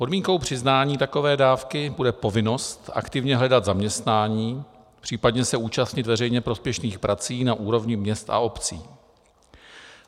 Podmínkou přiznání takové dávky bude povinnost aktivně hledat zaměstnání, případně se účastnit veřejně prospěšných prací na úrovni měst a obcí.